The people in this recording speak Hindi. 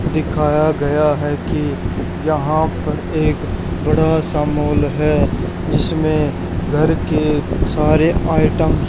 दिखाया गया है कि यहां पर एक बड़ा सा मॉल है जिसमें घर के सारे आइटम --